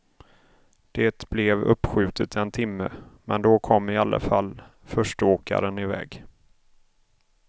Det blev uppskjutet en timme, men då kom i alla fall förste åkaren i väg.